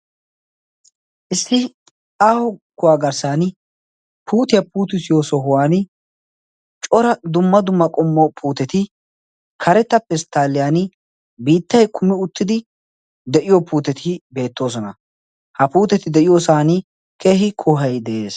issi aaho kuwaa garssan puutiyaa puuti siyo sohuwan cora dumma dumma qommo puuteti karettappe pesttaaliyan biittay kumi uttidi de7iyo puuteti beettoosona ha puuteti de7iyoosan kehi kohai de7ees